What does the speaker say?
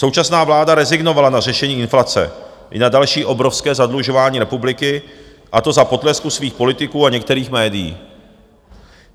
Současná vláda rezignovala na řešení inflace i na další obrovské zadlužování republiky, a to za potlesku svých politiků a některých médií.